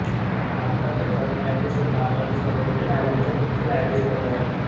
भारताचे सरन्यायाधीश हे भारताच्या सर्वोच्च न्यायालयाचे मुख्य न्यायाधीश पद आहे